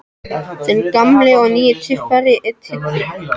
Þinn gamli og nýi tyftari, Diddi.